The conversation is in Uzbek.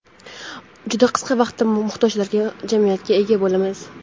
juda qisqa vaqtda muhtojlar jamiyatiga ega bo‘lamiz.